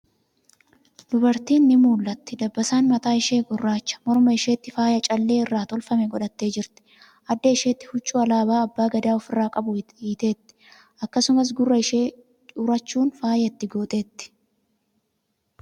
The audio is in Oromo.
Dubartiin ni mul'atti. Dabbasaan mataa ishee gurraacha. Morma isheetti faaya callee irraa tolfame godhattee jirti. Adda isheetti huccuu alaabaa abbaa gadaa ofirraa qabu hiiteetti. Akkasumas, gurra ishee urachuun faaya itti gooteetti.